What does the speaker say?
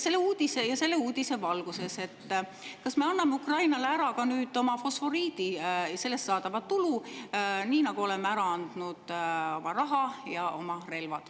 Selle uudise valguses küsin, kas me anname Ukrainale ära ka oma fosforiidi ja sellest saadava tulu, nii nagu oleme ära andnud oma raha ja oma relvad.